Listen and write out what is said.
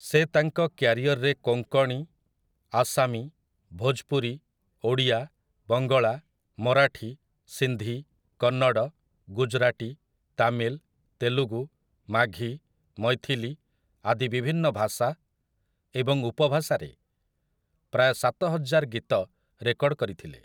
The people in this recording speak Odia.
ସେ ତାଙ୍କ କ୍ୟାରିଅରରେ କୋଙ୍କଣୀ, ଆସାମୀ, ଭୋଜପୁରୀ, ଓଡ଼ିଆ, ବଙ୍ଗଳା, ମରାଠୀ, ସିନ୍ଧି, କନ୍ନଡ, ଗୁଜରାଟୀ, ତାମିଲ, ତେଲୁଗୁ, ମାଘୀ, ମୈଥିଲି ଆଦି ବିଭିନ୍ନ ଭାଷା ଏବଂ ଉପଭାଷାରେ ପ୍ରାୟ ସାତହଜାର ଗୀତ ରେକର୍ଡ କରିଥିଲେ ।